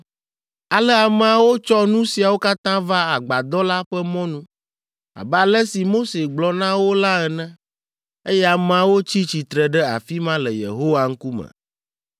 Ale ameawo tsɔ nu siawo katã va Agbadɔ la ƒe mɔnu, abe ale si Mose gblɔ na wo la ene, eye ameawo tsi tsitre ɖe afi ma le Yehowa ŋkume.